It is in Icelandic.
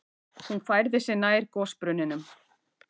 Hún færði sig nær gosbrunninum.